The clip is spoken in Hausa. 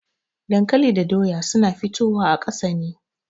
Dankali da Doya suna fito wa a ƙasa ne.